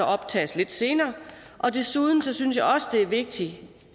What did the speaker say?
optages lidt senere og desuden synes jeg også det er vigtigt